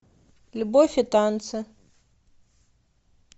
любовь и танцы